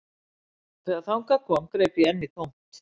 Þegar þangað kom greip ég enn í tómt